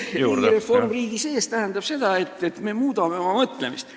Riigireform riigi sees tähendab seda, et me muudame oma mõtlemist.